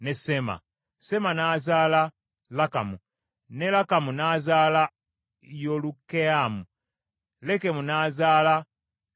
Sema n’azaala Lakamu, ne Lakamu n’azaala Yolukeyaamu. Lekemu n’azaala Sammayi.